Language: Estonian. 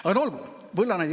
Aga no olgu!